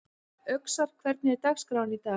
Öxar, hvernig er dagskráin í dag?